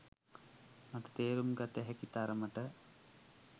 මට තේරුම් ගත හැකි තරමට